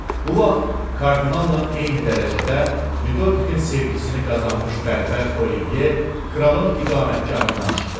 Bu vaxt kardinala eyni dərəcədə Lüdoikin sevgisini qazanmış bərbər Olivey kralın iqamətgahından çıxdı.